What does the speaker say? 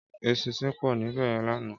Éṣìnṣìn pò níbèyèn làná